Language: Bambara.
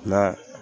Na